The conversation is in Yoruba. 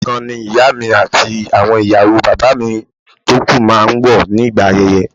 Aṣọ kan náà ni ìyá mi àti àwọn ìyàwó bàbá mi tó kú máa ń wọ̀ nígbà ayẹyẹ